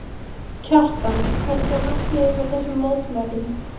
Kjartan, hvert var markmiðið með þessum mótmælum?